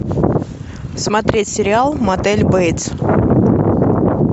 смотреть сериал мотель бейтс